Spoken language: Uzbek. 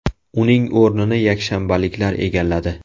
Uning o‘rnini yakshanbaliklar egalladi.